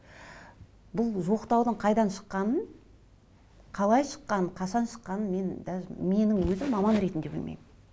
бұл жоқтаудың қайдан шыққанын қалай шыққанын қашан шыққанын мен даже менің өзім маман ретінде білмеймін